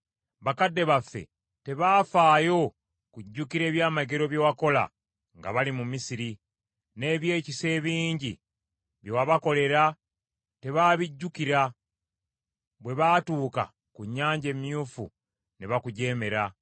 Bakadde baffe tebaafaayo kujjukira ebyamagero bye wakola nga bali mu Misiri; n’ebyekisa ebingi bye wabakolera tebaabijjukira, bwe baatuuka ku Nnyanja Emyufu ne bakujeemera.